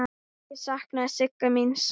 Ég sakna Sigga míns.